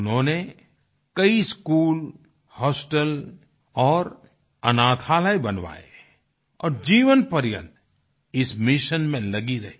उन्होंने कई school hostel और अनाथालय बनवाए और जीवनपर्यन्त इस मिशन में लगी रहीं